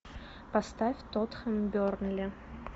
поставь тоттенхэм бернли